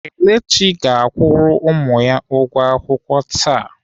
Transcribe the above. Kelechi ga-akwụrụ ụmụ ya ụgwọ akwụkwọ taa.